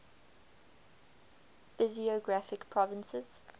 physiographic provinces